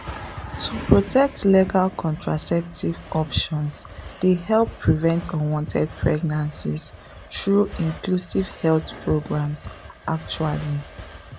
to protect legal contraceptive options dey help prevent unwanted pregnancies through inclusive health programs actually.